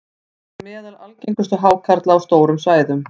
hann var meðal algengustu hákarla á stórum svæðum